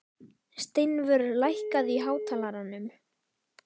Steinvör, lækkaðu í hátalaranum.